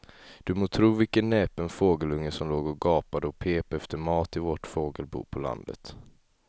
Du må tro vilken näpen fågelunge som låg och gapade och pep efter mat i vårt fågelbo på landet.